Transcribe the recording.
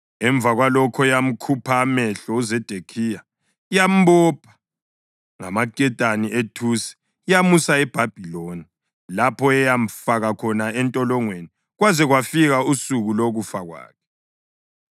Emva kwalokho, yamkhupha amehlo uZedekhiya, yambopha ngamaketane ethusi, yamusa eBhabhiloni, lapho eyamfaka khona entolongweni kwaze kwafika usuku lokufa kwakhe.